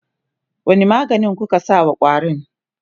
wani maganin kuka sa wa ƙwarin?